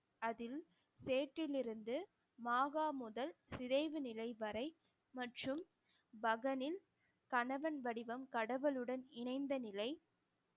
அதில் சேற்றில் இருந்து மாகா முதல் சிதைவு நிலை வரை மற்றும் பகனின் கணவன் வடிவம் கடவுளுடன் இணைந்த நிலை